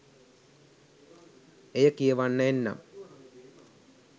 එය කියවන්න එන්නම්.